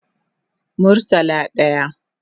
Murtala daya